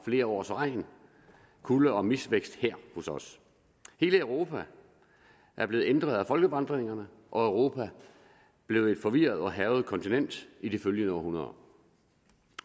flere års regn kulde og misvækst her hos os hele europa er blevet ændret af folkevandringerne og europa blev et forvirret og hærget kontinent i de følgende århundreder